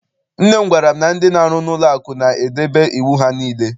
Nne m gwara m na ndị na-aru n'ụlọ akụ na-edebe iwu ha niile.